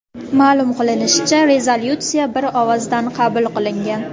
Ma’lum qilinishicha, rezolyutsiya bir ovozdan qabul qilingan.